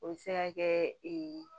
O bɛ se ka kɛ